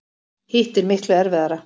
Hitt er miklu erfiðara.